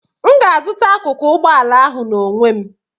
M ga-azụta akụkụ ụgbọ ala ahụ n'onwe m